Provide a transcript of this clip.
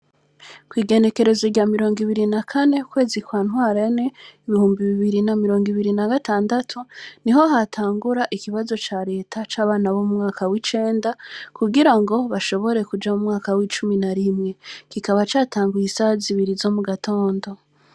Kw’igenekerezo rya mirongo ibiri na kane ukwezi kwa Ntwarante ibihumbi bibiri na mirongo ibiri na gatandatu, niho hatangura ikibazo ca leta c'abana bo mu mwaka w’icenda, kugira ngo bashobore kuja mu mwaka w’icumi na rimwe; kikaba catanguye isaha zibiri zo mu gatondo.